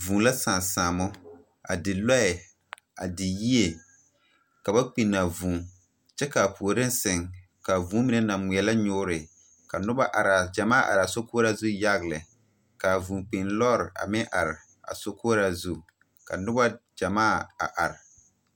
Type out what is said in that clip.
Vūū la sãã saamo a di lɔɛ, a di yie, ka ba kpinaa vūū. Kyɛ kaa puoriŋ seŋ, kaa vūū mine naŋ ŋmeɛlɛ nyoore. Ka noba araa Gyɛmaa araa sokoɔraa zu yaga lɛ.kaa vūūkpiin lɔɔre a meŋ are a sokoɔraa zu. Ka noba Gyɛmaa a are.